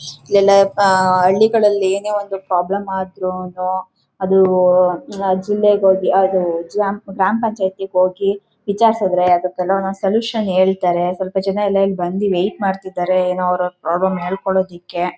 ಎಲಾ ಹಳ್ಳಿಗಳಲ್ಲಿ ಏನೆ ಒಂದು ಪ್ರಾಬ್ಲಮ್ ಆದರೂನು ಅದು ಜಿಲ್ಲೆಗ ಹೋಗಿ ಅದು ಗ್ರಾಮಪಂಚಾಯ್ತಿ ಹೋಗಿ ವಿಚಾರಿಸಿದ್ರೆ ಅದಕೆಲ ಒಂದೊಂದ್ ಸೊಲ್ಯೂಷನ್ ಹೇಳ್ತಾರೆ ಸ್ವಲ್ಪ ಜನ ಎಲ್ಲ ಇಲ್ಲಿ ಬಂದು ವೇಟ್ ಮಾಡ್ತಿದಾರೆ ಏನೋ ಅವರವರ ಪ್ರಾಬ್ಲಮ್ ಹೇಳ್ಕೊಳೋದಾಕೆ .